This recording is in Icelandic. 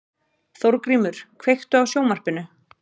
Þórgrímur, kveiktu á sjónvarpinu.